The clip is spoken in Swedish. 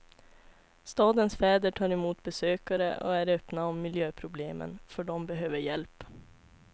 Stadens fäder tar emot besökare och är öppna om miljöproblemen, för de behöver hjälp.